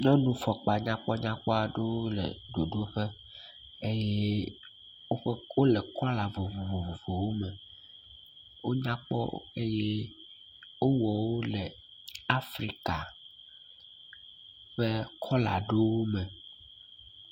Nyɔnufɔkpa nyakpɔnyakpɔ aɖewo le ɖoɖoƒe eye woƒe kɔ wole kɔla vovovowo me, wonya kpɔ eye wowɔwo Afrika ƒe kɔla ɖewo me.